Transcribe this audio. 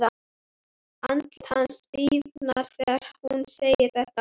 Andlit hans stífnar þegar hún segir þetta.